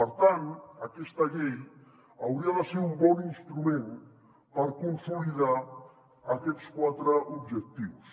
per tant aquesta llei hauria de ser un bon instrument per consolidar aquests quatre objectius